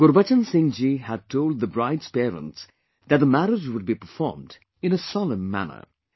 Gurbachan Singh ji had told the bride's parents that the marriage would be performed in a solemn manner